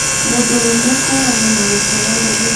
Mũndũrũme kũũragwo na gũteo rũũĩ